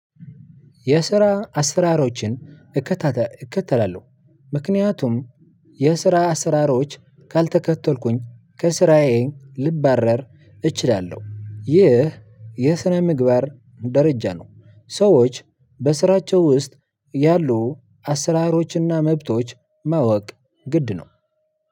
የስራ አስራሮችን እከተላለሁ ምክንያቱም የስራ አስራሮች ካልተከተልኩኝ ከስራዬ ልባረር እችላለሁ። ይህ የስነ ምግባር ደረጃ ነው። ሰዎች በስራቸው ውስጥ ያሉ አሰራሮችና መብቶች ማወቅ ግድ ነው።